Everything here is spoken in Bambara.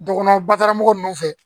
Dɔgɔnɔ baramɔgɔ nunnu fɛ